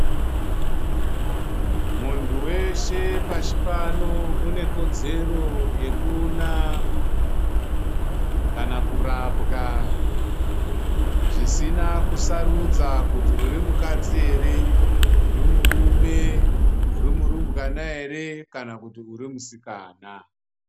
Muntu weshe pashi pano unekodzero yekuona kana kurapwa zvisina kusarudza kuti uri mukadz i ere, uri murume ,uri murumbwana ere, kana kuti urimusikana.